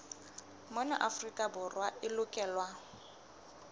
mona afrika borwa e lokelwa